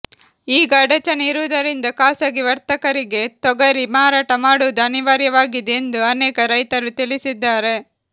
ಈಗ ಅಡಚಣೆ ಇರುವುದರಿಂದ ಖಾಸಗಿ ವರ್ತಕರಿಗೆ ತೊಗರಿ ಮಾರಾಟ ಮಾಡುವುದು ಅನಿವಾರ್ಯವಾಗಿದೆ ಎಂದು ಅನೇಕ ರೈತರು ತಿಳಿಸಿದ್ದಾರೆ